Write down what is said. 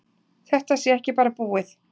Þetta sé ekki bara búið.